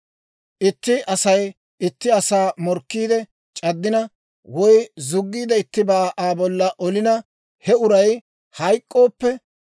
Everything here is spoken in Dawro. « ‹Itti Asay itti asaa morkkiide c'addina, woy zuggiid ittibaa Aa bolla olina, he uray hayk'k'ooppe,